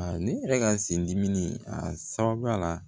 A ne yɛrɛ ka sin dimi a sababuya la